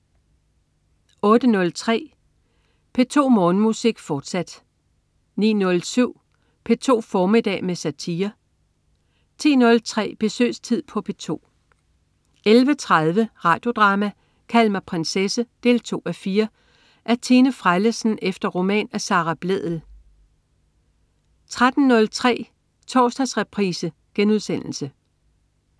08.03 P2 Morgenmusik, fortsat 09.07 P2 formiddag med satire 10.03 Besøgstid på P2 11.30 Radio Drama: Kald mig prinsesse 2:4. Af Tine Frellesen efter roman af Sara Blædel 13.03 Torsdagsreprise*